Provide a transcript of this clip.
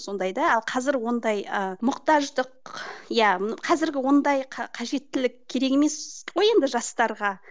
сондай да қазір ондай ы мұқтаждық иә қазіргі ондай қажеттілік керек емес қой енді жастарға